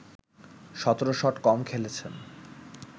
১৭ shot কম খেলেছেন